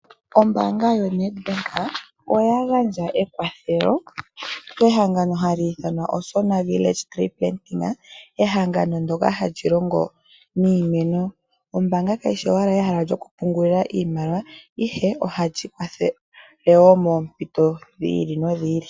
Ombanga yoNEDBANK oya gandja ekwathelo kehangano haliithanwa Osona Village Tree Planting, ehangano ndyoka hali longo niimeno. Ombaanga kayishi owala ehala lyokupungulilwa ihe ohalyi kwathele woo moompinto dhili no dhili.